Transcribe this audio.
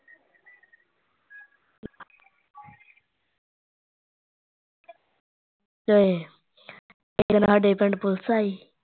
ਤੇ ਫਿਰ ਸਾਡੇ ਪਿੰਡ police ਆਈ